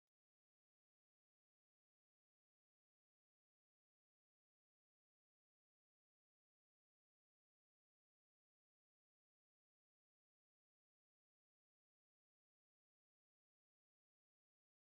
Manni yokin dallaan kun, reestoraantii yookin mana bashannanaa dha. Reestoraantiin kun baay'ee guddaa yoo ta'u, namoonni muraasni bakka kanatti ta'anii nyaata nyaachaa fi haasa'aa jiru. Biqiloonni magariisni hedduun garaa garaas dallaa kana keessa ni jiru.